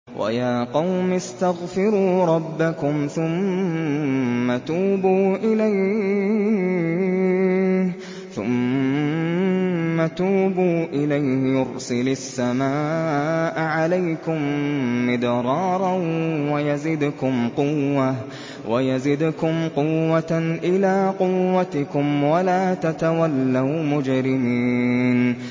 وَيَا قَوْمِ اسْتَغْفِرُوا رَبَّكُمْ ثُمَّ تُوبُوا إِلَيْهِ يُرْسِلِ السَّمَاءَ عَلَيْكُم مِّدْرَارًا وَيَزِدْكُمْ قُوَّةً إِلَىٰ قُوَّتِكُمْ وَلَا تَتَوَلَّوْا مُجْرِمِينَ